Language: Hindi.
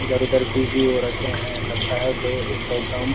इधर उधर भिजी हो रखे हैं लगता है कोई म प्रोग्राम --